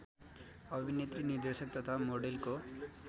अभिनेत्री निर्देशक तथा मोडेलको